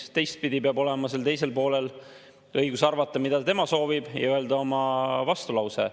Teistpidi peab olema sellel teisel poolel õigus arvata, mida tema soovib, ja öelda oma vastulause.